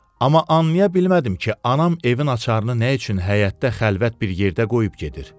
Amma anlaya bilmədim ki, anam evin açarını nə üçün həyətdə xəlvət bir yerdə qoyub gedir.